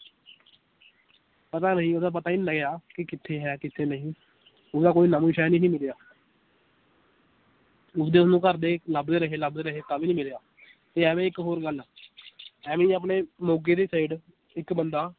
ਪਤਾ ਨਹੀਂ ਓਹਦਾ ਪਤਾ ਹੀ ਨੀ ਲੱਗਿਆ ਕਿ ਕਿੱਥੇ ਹੈ ਕਿਥੇ ਨਹੀਂ ਓਹਦਾ ਕੋਈ ਨਾਮੋ ਨਿਸ਼ਾਨ ਹੀ ਨੀ ਰਿਹਾ ਉਸਦੇ ਓਹਨੂੰ ਘਰਦੇ ਲਭਦੇ ਰਹੇ ਲਭਦੇ ਰਹੇ ਤਾਂ ਵੀ ਨੀ ਮਿਲਿਆ ਤੇ ਐਵੇਂ ਇੱਕ ਹੋਰ ਗੱਲ ਐਵੀਂ ਆਪਣੇ ਮੋਗੇ ਦੀ side ਇਕ ਬੰਦਾ